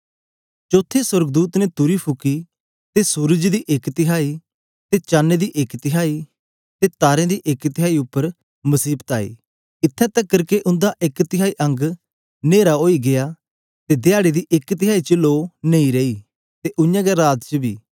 चौथे सोर्गदूत ने तुरी फुकी ते सूरज दी एक तिहाई ते चण दी एक तिहाई ते तारें दी एक तिहाई उपर मसीबत आई इत्थैं तकर के उंदा एक तिहाई अंग न्नेरा ओई गीया ते धयारे दी एक तिहाई च लो नेई रेई ते उय्यां गै राती च बी